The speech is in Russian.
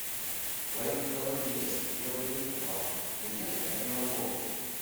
в твоем каталоге есть белый клык два легенда о белом волке